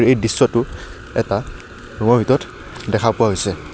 এই দৃশ্যটো এটা ৰুমৰ ভিতৰত দেখা পোৱা হৈছে।